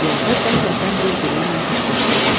Yolda qəflətən birbiri ilə toqquşdular.